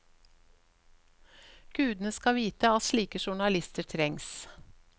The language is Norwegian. Gudene skal vite at slike journalister trengs.